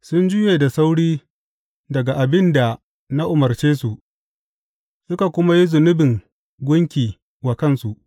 Sun juye da sauri daga abin da na umarce su, suka kuma yi zubin gunki wa kansu.